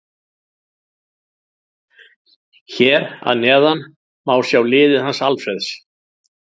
Hér að neðan má sjá liðið hans Alfreðs.